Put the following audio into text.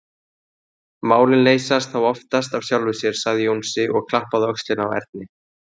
Málin leysast þá oftast af sjálfu sér, sagði Jónsi og klappaði á öxlina á Erni.